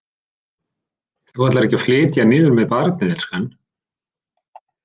Þú ætlar ekki að flytja niður með barnið, elskan?